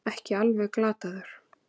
Ekki alveg glataður